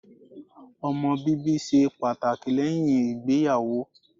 Ọmọ bíbí ṣe pàtàkì lẹ́yìn ìgbéyàwó.